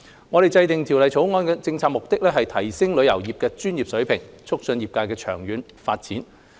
我們制訂《條例草案》的政策目的，是提升旅遊業界的專業水平，促進業界的長遠發展。